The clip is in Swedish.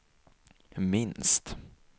minst